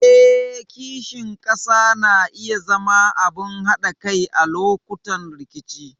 Eh, kishin ƙasa na iya zama abin haɗa kai a lokutan rikici.